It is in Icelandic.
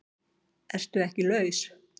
ERTU EKKI LAUS?